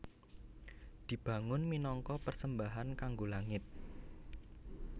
Dibangun minangka persembahan kanggo langit